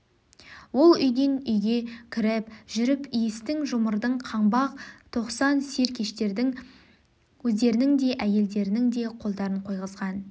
ол үйден-үйге кіріп жүріп иістің жұмырдың қаңбақ тоқсан сер-кештердің өздерінің де әйелдерінің де қолдарын қойғызған